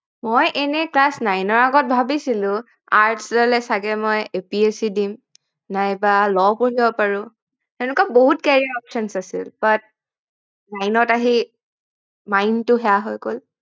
মই এনেই class nine ৰ আগত ভাবিছিলো arts ললে চাগে মই APSC দিম নাইবা Law পঢ়িব পাৰো সেনেকোৱা বহুত carrier options আছিল but nine আহি mind টো সেয় হৈ গল